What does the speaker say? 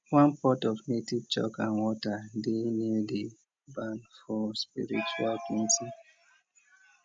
one pot of native chalk and water dey near di barn for spiritual cleansing